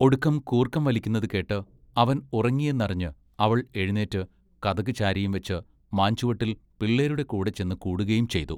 ഒടുക്കം കൂർക്കം വലിക്കുന്നത് കേട്ട് അവൻ ഉറങ്ങിയെന്നറിഞ്ഞ് അവൾ എഴുനീറ്റ് കതകു ചാരിയും വെച്ച് മാംചുവട്ടിൽ പിള്ളേരുടെ കൂടെ ചെന്ന് കൂടുകയും ചെയ്തു.